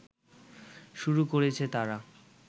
শুরু করেছে তারা